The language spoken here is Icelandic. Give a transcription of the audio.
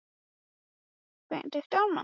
Stína, hefur þú prófað nýja leikinn?